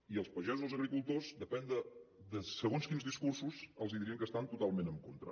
i els pagesos i els agricultors depèn de segons quins discursos els dirien que hi estan totalment en contra